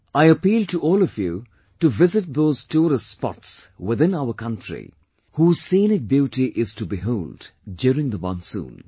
I appeal to all of you to visit those tourist spots within our country whose scenic beauty is to behold during the monsoon